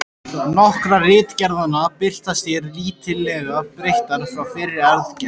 Nokkrar ritgerðanna birtast hér lítillega breyttar frá fyrri gerð.